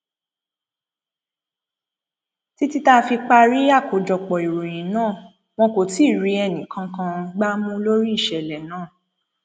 títí tá a fi parí àkójọpọ ìròyìn náà wọn kò tí ì rí ẹnìkankan gbá mú lórí ìṣẹlẹ náà